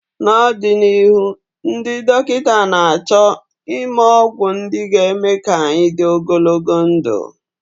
n'ọdịnihu, ndị dọkịta na-achọ ịme ọgwụ ndị ga-eme ka anyị dị ogologo ndụ